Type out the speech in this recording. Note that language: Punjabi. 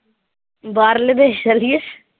ਬਾਹਰਲੇ ਦੇਸ ਚੱਲੀਏ।